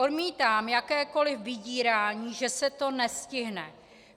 Odmítám jakékoli vydírání, že se to nestihne.